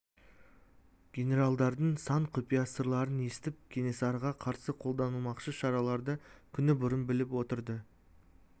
генералдардың сан құпия сырларын естіп кенесарыға қарсы қолданылмақшы шараларды күні бұрын біліп отырды